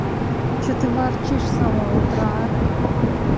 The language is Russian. что ты ворчишь с самого утра а